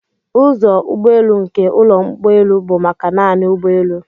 Ụzọ ụgbọelu nke ụlọ ụgbọelu bụ maka naanị ụgbọelu.